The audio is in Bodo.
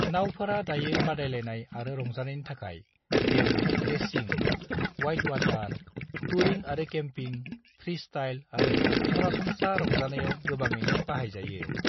नावफोरा दायो बादायलायनाय आरो रंजानायनि थाखाय जेरै रेसिं, वाइटवाटार, टूरिं आरो केम्पिं, फ्रीस्टाइल आरो सरासनस्रा रंजानायाव गोबाङैनो बाहायजायो।